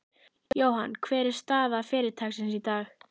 Jóhann, hver er staða fyrirtækisins í dag?